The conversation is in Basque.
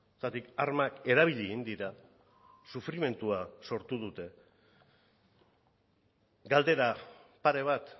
zergatik armak erabili egin dira sufrimendua sortu dute galdera pare bat